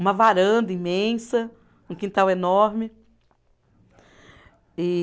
Uma varanda imensa, um quintal enorme. E